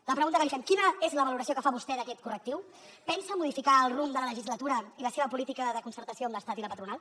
la pregunta que li fem quina és la valoració que fa vostè d’aquest correctiu pensa modificar el rumb de la legislatura i la seva política de concertació amb l’estat i la patronal